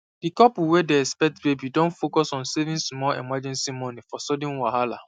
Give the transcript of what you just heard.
the couple wey dey expect baby don focus on saving small emergency money for sudden wahala